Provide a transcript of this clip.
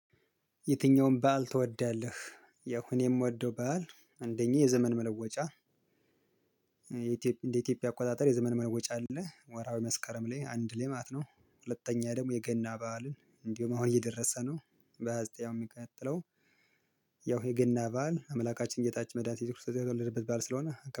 የትኛውም በዓል ትወዳለህ? ያው እኔ የምወደው በዓል አንደኛ የዘመን መለወጫ እንደ ኢትዮጵያ አቆጣጠር የዘመን መለወጫ አለ ወራዊ መስከረም ላይ አንድ ላይ ማት ነው። ሁለተኛ ደግሞ የገና በዓልን እንዲሁም አሁን እየደረሰ ነው። በሃያ ዘጠኝ የሚቀጥለው ያው የገና በዓል አምላካችን ጌታችን መዳኒታችን ኢየሱስ ክርስቶስ ያተወለደበት በዓል ስለሆነ